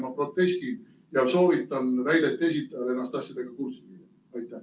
Ma protestin ja soovitan väidete esitajal ennast asjadega kurssi viia.